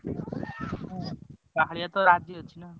ହଁ। କାଳିଆତ ରାଜି ଅଛି ନା।